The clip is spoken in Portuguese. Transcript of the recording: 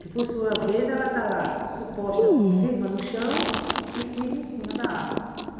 que por sua vez ela está lá, suposta, firma no chão e firme em cima da água.